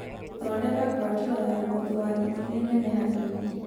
Thondeka ngwatĩro ya mũthwagi ĩrĩ nene hanini.